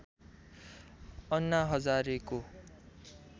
अन्ना हजारेको